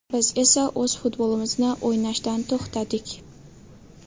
Biz esa o‘z futbolimizni o‘ynashdan to‘xtadik.